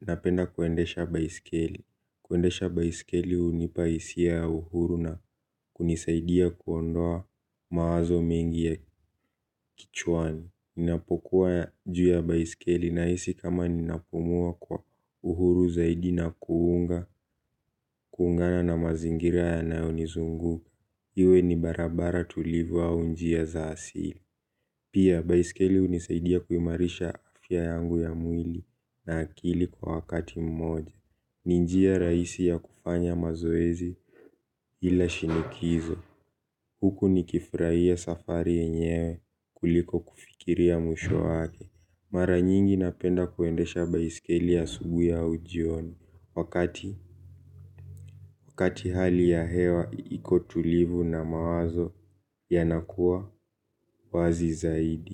napenda kuendesha baiskeli. Kuendesha baiskeli hunipa hisia ya uhuru na kunisaidia kuondoa mawazo mengi ya kichwani. Ninapokuwa juu ya baiskeli nahisi kama ninapumua kwa uhuru zaidi na kuunga, kuungana na mazingira yanayonizungu. Iwe ni barabara tulivu au njia za asili. Pia, baiskeli hunisaidia kuimarisha afya yangu ya mwili na akili kwa wakati mmoja. Ni njia rahisi ya kufanya mazoezi ila shinikizo. Huku nikifurahia safari yenyewe kuliko kufikiri ya mwisho wake. Mara nyingi napenda kuendesha baiskeli asubuhi au jioni. Wakati hali ya hewa iko tulivu na mawazo yanakuwa wazi zaidi.